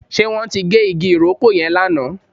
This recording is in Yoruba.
Ṣe wọn tí gé igi ìrókò yẹn lánàá?